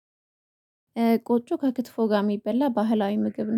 ቆጮ ከክትፎ ጋር የሚበላ ባህላዊ ምግብ ነው።